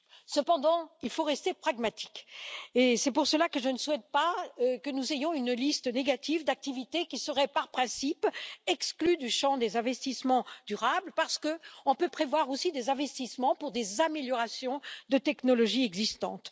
Cependant, il faut rester pragmatique et c'est pour cela que je ne souhaite pas que nous ayons une liste négative d'activités, qui serait par principe exclue du champ des investissements durables, parce qu'on peut prévoir aussi des investissements pour des améliorations de technologies existantes.